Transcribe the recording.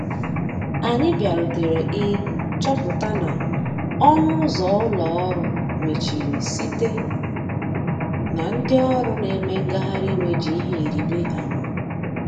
Anyi bia rutere ị chọpụta na ọnụ ụzọ ụlọ orụ mechịrị site na ndi ọrụ na eme ngahari iwè ji ihe ịrịbe ama.